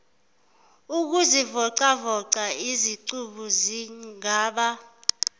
ukuzivocavoca izicubu zingaba